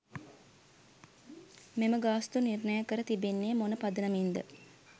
මෙම ගාස්තු නිර්ණය කර තිබෙන්නේ මොන පදනමින්ද?